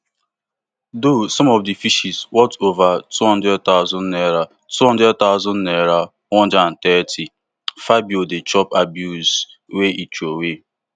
though some of di fishes worth ova two hundred thousand naira two hundred thousand naira one hundred and thirty fabio dey chop abuse wen e throway